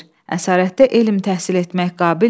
Əsarətdə elm təhsil etmək qabilmi?